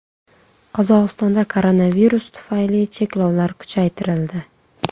Qozog‘istonda koronavirus tufayli cheklovlar kuchaytirildi.